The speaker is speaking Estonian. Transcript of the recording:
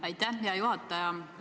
Aitäh, hea juhataja!